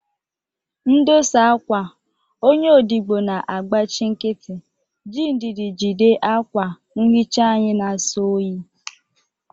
Ndosa akwa, onye odibo na-agbachi nkịtị, ji ndidi jide akwa nhicha anyị na-asọ oyi.